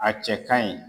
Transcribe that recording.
A cɛ ka ɲi